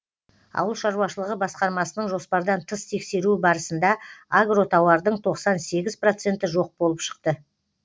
ауыл шаруашылығы басқармасының жоспардан тыс тексеруі барысында агротауардың тоқсан сегіз проценті жоқ болып шықты